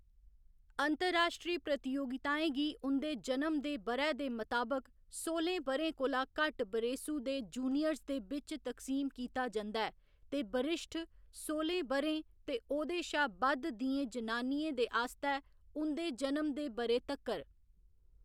अंतर्राश्ट्री प्रतियोगिताएं गी उं'दे जनम दे ब'रै दे मताबक सोह्‌लें ब'रें कोला घट्ट बरेसू दे जूनियर्स दे बिच्च तक्सीम कीता जंदा ऐ, ते बरिश्ठ, सोह्‌लें ब'रें ते ओह्‌‌‌दे शा बद्ध दियें जनानियें दे आस्तै उं'दे जनम दे ब'रे तक्कर।